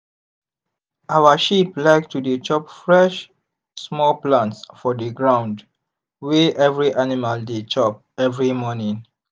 our sheep like to dey chop fresh small plants for the ground wey every animal dey chop every morning.